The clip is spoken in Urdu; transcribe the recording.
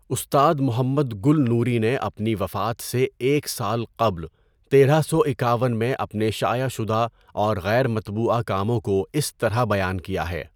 استاد محمد گل نوری نے اپنی وفات سے ایک سال قبل تیرہ سو اکاون میں اپنے شائع شدہ اور غیر مطبوعہ کاموں کو اس طرح بیان کیا ہے۔